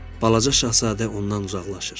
Balaca şahzadə ondan uzaqlaşır.